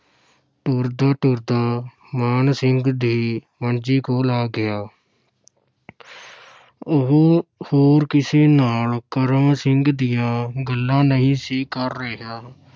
ਤੁਰਦਾ-ਤੁਰਦਾ ਮਾਨ ਸਿੰਘ ਦੀ ਮੰਜੀ ਕੋਲ ਆ ਗਿਆ ਉਹ ਹੋਰ ਕਿਸੇ ਨਾਲ ਕਰਮ ਸਿੰਘ ਦੀਆਂ ਗੱਲਾਂ ਨਹੀਂ ਸੀ ਕਰ ਰਿਹਾ।